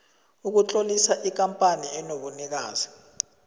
ukutlolisa ikampani enobunikazi